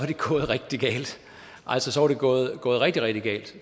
det gået rigtig galt altså så var det gået rigtig rigtig galt